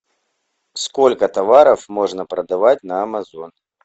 сколько товаров можно продавать на амазон